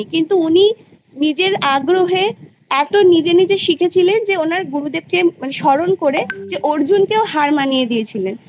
কিন্তু উনি নিজের আগ্রহে এতো নিজে নিজে শিখেছিলেন যে ওনার গুরুদেবকে স্মরণ করে যে অর্জুনকেও হার মানিয়ে দিয়েছিলেন